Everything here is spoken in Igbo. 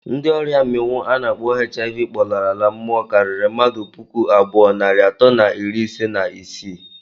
Ndi oria minwụ ana akpọ hiv kpọlara mmụọ kariri mmadụ pụkụ abụọ narị atọ na iri ise na isii